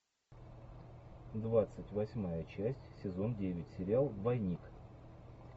двадцать восьмая часть сезон девять сериал двойник